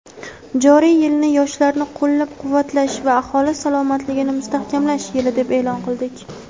"Joriy yilni "Yoshlarni qo‘llab-quvvatlash va aholi salomatligini mustahkamlash yili" deb e’lon qildik.